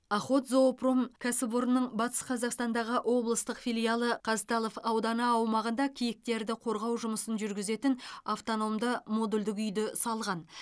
охотзоопром кәсіп орнының батыс қазақстандағы облыстық филиалы қазталов ауданы аумағында киіктерді қорғау жұмысын жүргізетін автономды модульдік үйді салған